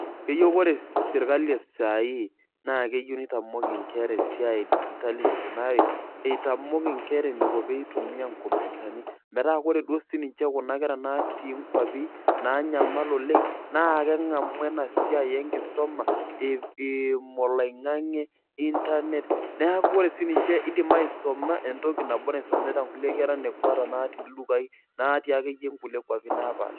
Keyieu ore serkali e saa hii naa keyieu neitamok inkera esiai e CS[digital]CS eneikunari neitamok inkera enaiko peyiee itumia CS[computer]CS metaa ore duo sininje kuna kera natii inkwapi naanyamal oleng' naa keng'amu ena siai enkisuma eimu oloing'nge CS[internet]CS neeku ore sininje iindim aisuma entoki nabo naisumita kulie kera nekwa ata natii ildukai naatii ake ninje nkulie kwapi naapaasha